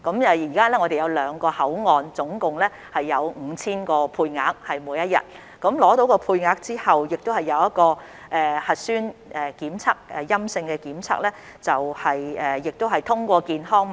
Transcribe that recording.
現時兩個口岸每天共有 5,000 個配額，在取得配額後必須取得陰性核酸檢測結果，繼而獲取健康碼。